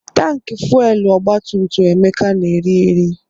Tankị fuelu ọgbatumtum Emeka na-eri eri.